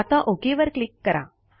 आता ओक वर क्लिक करा